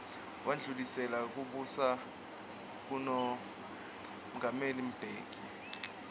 wandlulisela kubusa kumongameli mbeki